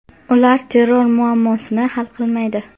Ular terror muammosini hal qilmaydi.